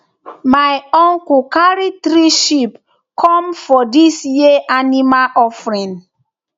myuncle carry three sheep come for dis year animal offering